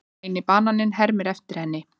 Græni bananinn hermir eftir henni.